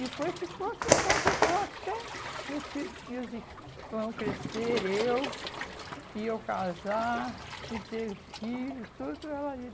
E depois ficou, ficou, ficou até meus filhos meus irmãos crescer, eu, e eu casar, e ter filho, tudo ela ali.